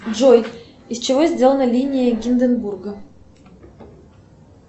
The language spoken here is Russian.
джой из чего сделана линия гинденбурга